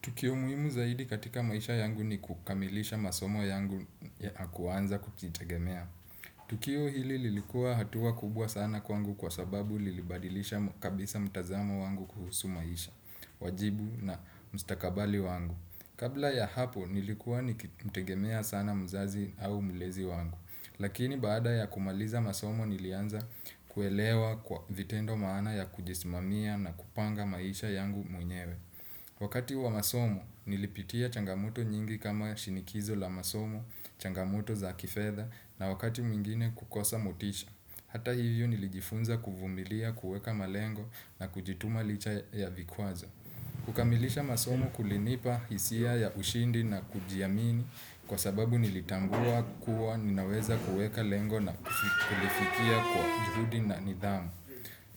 Tukio muhimu zaidi katika maisha yangu ni kukamilisha masomo yangu na kuanza kujitegemea. Tukio hili lilikuwa hatuwa kubwa sana kwangu kwa sababu lilibadilisha kabisa mtazamo wangu kuhusu maisha, wajibu na mstakabali wangu. Kabla ya hapo nilikuwa nikimtegemea sana mzazi au mlezi wangu. Lakini baada ya kumaliza masomo nilianza kuelewa kwa vitendo maana ya kujismamia na kupanga maisha yangu mwenyewe. Wakati wa masomo, nilipitia changamoto nyingi kama shinikizo la masomo, changamoto za kifedha na wakati mwingine kukosa motisha. Hata hivyo nilijifunza kuvumilia, kuweka malengo na kujituma licha ya vikwazo. Kukamilisha masomo kulinipa hisia ya ushindi na kujiamini kwa sababu nilitambua kuwa ninaweza kueka lengo na kulifikia kwa juhudi na nidhamu.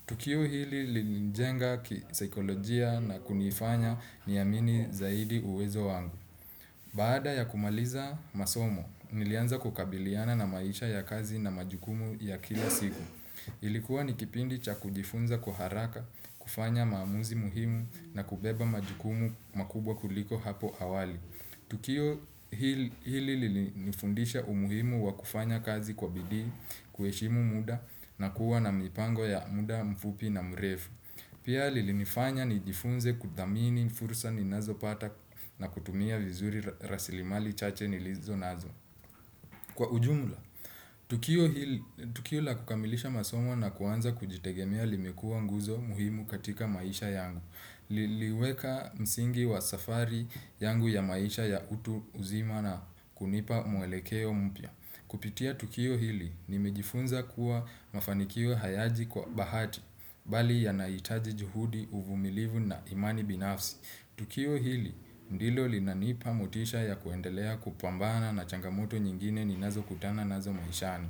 Tukio hili linijenga kisaikolojia na kunifanya niamini zaidi uwezo wangu. Baada ya kumaliza masomo, nilianza kukabiliana na maisha ya kazi na majukumu ya kila siku. Ilikuwa ni kipindi cha kujifunza kwa haraka, kufanya maamuzi muhimu na kubeba majukumu makubwa kuliko hapo awali. Tukio hili lilinifundisha umuhimu wa kufanya kazi kwa bidii kueshimu muda na kuwa na mipango ya muda mfupi na mrefu. Pia lilinifanya nijifunze kudhamini fursa ninazopata na kutumia vizuri rasilimali chache nilizo nazo. Kwa ujumla, tukio la kukamilisha masomo na kuanza kujitegemea limekua nguzo muhimu katika maisha yangu, liliweka msingi wa safari yangu ya maisha ya utu uzima na kunipa mwelekeo mpya. Kupitia tukio hili nimejifunza kuwa mafanikio hayaji kwa bahati bali yanaitaji juhudi uvumilivu na imani binafsi. Tukio hili ndilo linanipa motisha ya kuendelea kupambana na changamoto nyingine ninazokutana nazo maishani.